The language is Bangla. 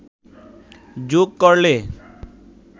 যোগ করলে